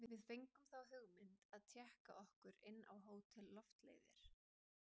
Við fengum þá hugmynd að tékka okkur inn á Hótel Loftleiðir.